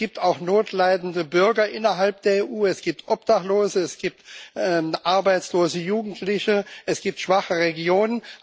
Es gibt auch notleidende Bürger innerhalb der EU, es gibt Obdachlose, es gibt arbeitslose Jugendliche, es gibt schwache Regionen.